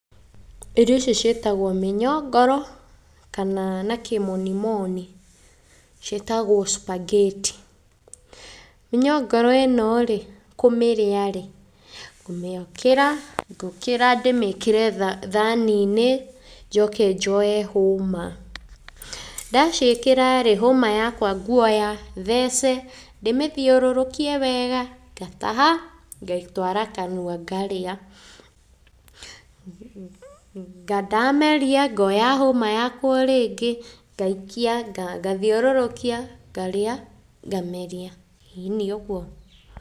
Irio icio ciĩtagwo mĩnyongoro, kana na kĩmonimoni ciĩtagwo Superget. Mĩnyongoro ĩno rĩ kũmĩrĩa rĩ, ngũmĩkĩra, ngũkĩra ndĩmĩkĩre thani-inĩ njoke njoe hũma. Ndaciĩkĩra rĩ, hũma yakwa nguoya, thece, ndĩmĩthiũrũrũkie wega, ngataha, ngaitwara kanua ngarĩa, ndameria ngoya hũma yakwa o rĩngĩ ngaikia ngathiũrũrũkia, ngarĩa ngameria, ĩni ũguo.